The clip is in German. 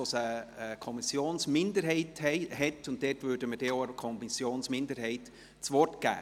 dort hat es eine Kommissionsminderheit und dort würden wir der Kommissionsminderheit auch das Wort geben.